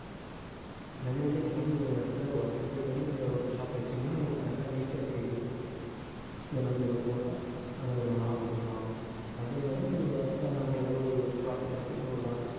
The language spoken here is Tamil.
அதை வந்து நீங்க வந்து ஒரு இடத்திலே work க்கு போயிட்டு வந்து நீங்க ஒரு shop வச்சீங்கன்னா உங்களுக்கு correct ஆ easy ஆ தெரியும் இங்கே நம்ம இவ்வளவு போட்டா நம்ம இவ்வளவு லாபம் எடுக்கலாம் அதே மாதிரி நீங்க நம்ம எவ்வளவு profit எடுக்கணும் எவ்வளவு loss